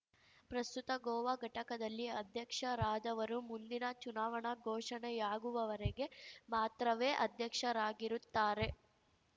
ಪ್ರಸ್ತುತ ಗೋವಾ ಘಟಕದಲ್ಲಿ ಅಧ್ಯಕ್ಷರಾದವರು ಮುಂದಿನ ಚುನಾವಣಾ ಘೋಷಣೆಯಾಗುವವರೆಗೆ ಮಾತ್ರವೇ ಅಧ್ಯಕ್ಷರಾಗಿರುತ್ತಾರೆ